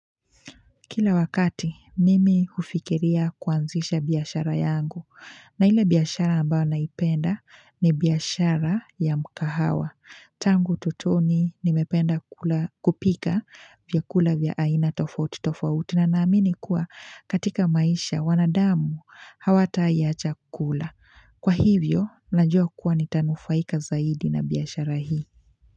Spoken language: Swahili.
Kila wakati mimi hufikiria kuanzisha biashara yangu na ile biashara ambao naipenda ni biashara ya mkahawa tangu utotoni nimependa kula kupika vyakula vya aina tofauti tofauti na naamini kuwa katika maisha wanadamu hawatai acha kula Kwa hivyo najua kuwa nitanufaika zaidi na biashara hii.